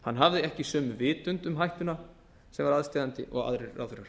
hann hafði ekki sömu vitund um hættuna sem var aðsteðjandi og aðrir ráðherrar